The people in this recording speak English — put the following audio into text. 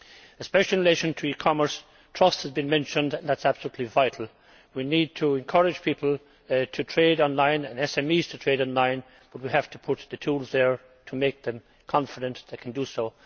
A special mention concerning e commerce trust has been mentioned and that is absolutely vital. We need to encourage people to trade online, and SMEs to trade online, but we have to put the tools there to give them confidence to do so.